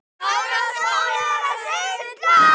Helltu þá edikinu saman við.